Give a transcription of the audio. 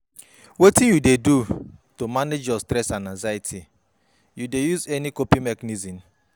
Wetin you dey do to manage your stress and anxiety, you dey use any coping mechanisms?